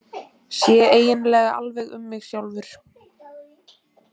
Sé eiginlega alveg um mig sjálfur.